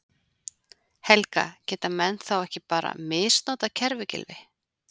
Helga: Geta menn þá ekki bara misnotað kerfið Gylfi?